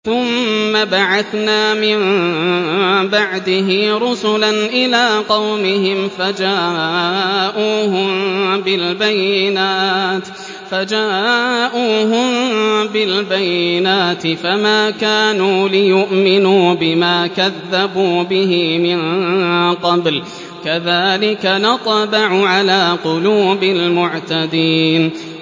ثُمَّ بَعَثْنَا مِن بَعْدِهِ رُسُلًا إِلَىٰ قَوْمِهِمْ فَجَاءُوهُم بِالْبَيِّنَاتِ فَمَا كَانُوا لِيُؤْمِنُوا بِمَا كَذَّبُوا بِهِ مِن قَبْلُ ۚ كَذَٰلِكَ نَطْبَعُ عَلَىٰ قُلُوبِ الْمُعْتَدِينَ